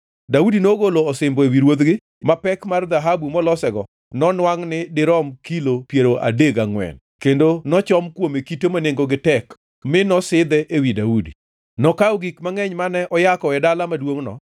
Daudi nogolo osimbo ewi ruodhgi, ma pek mar dhahabu molosego nonwangʼ ni dirom kilo piero adek gangʼwen, kendo nochom kuome kite ma nengogi tek mi nosidhe ewi Daudi. Nokawo gik mangʼeny mane oyako e dala maduongʼno